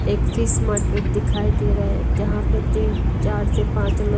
एक fish market दिखाई दे रहे जहां पे तीन चार से पांच लोग--